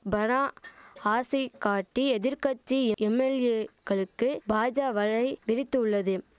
பணா ஆசை காட்டி எதிர் கட்சி எம்எல்ஏகளுக்கு பாஜா வலை விரித்துள்ளது